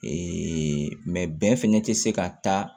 bɛn fɛnɛ tɛ se ka taa